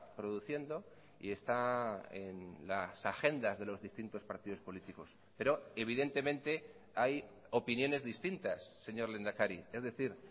produciendo y está en las agendas de los distintos partidos políticos pero evidentemente hay opiniones distintas señor lehendakari es decir